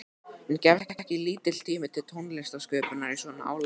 En gefst ekki lítill tími til tónlistarsköpunar í svona álagi?